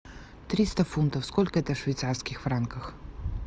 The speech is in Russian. триста фунтов сколько это в швейцарских франках